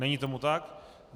Není tomu tak.